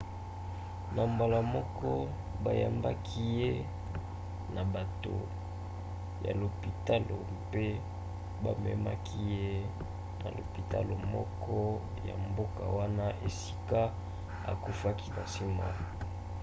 na mbala moko bayambaki ye na bato ya lopitalo mpe bamemaki ye na lopitalo moko ya mboka wana esika akufaki na nsima